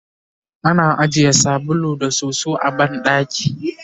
ana ajiye sabulu da soso a banɗaki